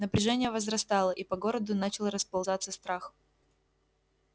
напряжение возрастало и по городу начал расползаться страх